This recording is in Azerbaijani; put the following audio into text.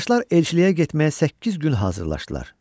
Qardaşlar elçiliyə getməyə səkkiz gün hazırlaşdılar.